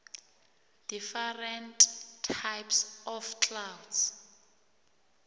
different types of clouds